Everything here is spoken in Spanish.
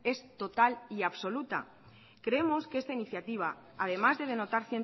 es total y absoluta creemos que esta iniciativa además de denotar